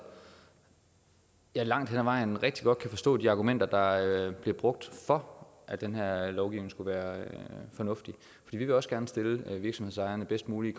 jeg langt hen ad vejen rigtig godt kan forstå de argumenter der bliver brugt for at at den her lovgivning skulle være fornuftig vi vil også gerne stille virksomhedsejerne bedst muligt